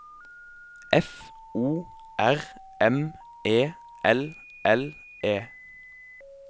F O R M E L L E